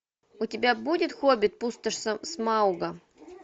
у тебя будет хоббит пустошь смауга